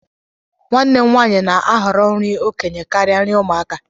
nwanne m nwanyị na-ahọrọ nri okenye karịa nri ụmụaka